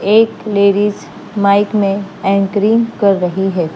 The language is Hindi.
एक लेडीज माइक में एंकरिंग कर रही है।